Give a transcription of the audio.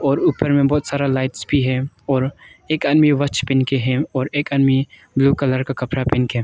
और ऊपर में बहुत सारा लाइट भी है और एक आदमी वॉच पहन के है और एक आदमी ब्लू कलर का कपड़ा पहन के।